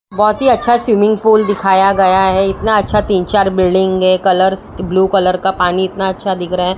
बहोत ही अच्छा स्विमिंग पूल दिखाया गया है इतना अच्छा तीन चार बिल्डिंग के कलर ब्लू कलर का पानी इतना अच्छा दिख रहा--